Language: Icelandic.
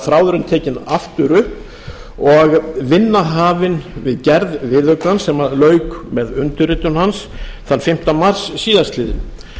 þráðurinn tekinn aftur upp og vinna hafin við gerð viðaukans sem lauk með undirritun hans þann fimmta mars síðastliðinn